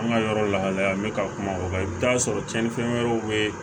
An ka yɔrɔ lahalaya n bɛ ka kuma o kan i bɛ taa sɔrɔ cɛnnifɛn wɛrɛw bɛ yen